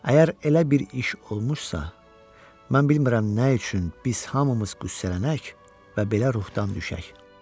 Əgər elə bir iş olmuşsa, mən bilmirəm nə üçün biz hamımız qüssələnək və belə ruhdan düşək.